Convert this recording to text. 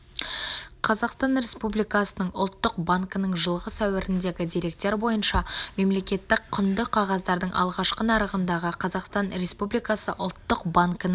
қазақстан республикасының ұлттық банкінің жылғы сәуіріндегі деректер бойынша мемлекеттік құнды қағаздардың алғашқы нарығындағы қазақстан республикасы ұлттық банкінің